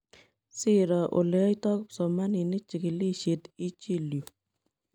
Siiro oleyaitoo kipsomaninik chikilisiet ichiil yuu.